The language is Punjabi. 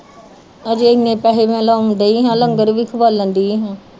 ਹਜੇ ਏਨੇ ਪੈਸੇ ਮੈ ਖਵੋਨ ਡੀ ਆ ਲੰਗਰ ਵੀ ਖਵਾਲਨ ਡਈ